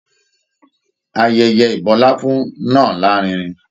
Ayẹyẹ ibọláfún náà larinrin.